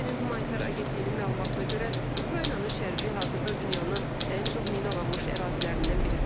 BMT-nin humanitar Agentliyinin məlumatına görə, Ukraynanın şərqi hazırda dünyanın ən çox minalanmış ərazilərindən biri sayılır.